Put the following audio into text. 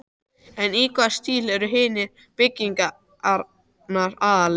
En í hvaða stíl eru hinar byggingarnar aðallega?